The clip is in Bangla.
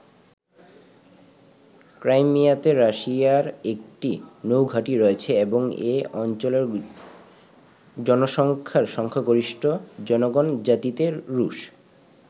ক্রাইমিয়াতে রাশিয়ার একটি নৌ ঘাটি রয়েছে এবং এই অঞ্চলের জনসংখ্যার সংখ্যাগরিষ্ঠ জনগণ জাতিতে রুশ।